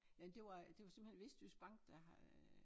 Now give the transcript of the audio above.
Nej det var det var simpelthen Vestjyske Bank der har øh